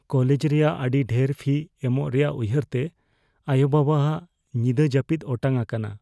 College ᱨᱮᱭᱟᱜ ᱟᱹᱰᱤ ᱰᱷᱮᱨ ᱯᱷᱤ ᱮᱢᱚᱜ ᱨᱮᱭᱟᱜ ᱩᱭᱦᱟᱹᱨ ᱛᱮ ᱟᱭᱳᱼᱵᱟᱵᱟᱼᱟᱜ ᱧᱤᱫᱟᱹ ᱡᱟᱹᱯᱤᱫ ᱚᱴᱟᱝ ᱟᱠᱟᱱᱟ ᱾